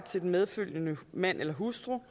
til den medfølgende mand eller hustru